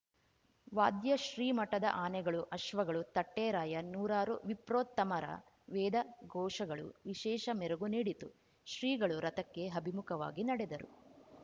ವಾದ್ಯ ಶ್ರೀ ಮಠದ ಆನೆಗಳು ಅಶ್ವಗಳು ತಟ್ಟೆರಾಯ ನೂರಾರು ವಿಪ್ರೋತ್ತಮರ ವೇದಘೋಷಗಳು ವಿಶೇಷ ಮೆರಗು ನೀಡಿತು ಶ್ರೀಗಳು ರಥಕ್ಕೆ ಅಭಿಮುಖವಾಗಿ ನಡೆದರು